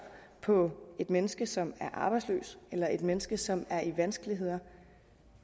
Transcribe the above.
på et menneske som er arbejdsløs eller et menneske som er i vanskeligheder